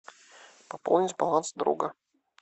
пополнить баланс друга